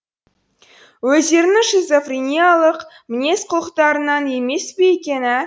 өздерінің шизофринеялық мінез құлықтарынан емес пе екен ә